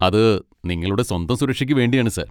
അത് നിങ്ങളുടെ സ്വന്തം സുരക്ഷക്ക് വേണ്ടിയാണ് സാർ.